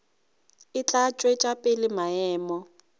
e tla tšwetša pele maemo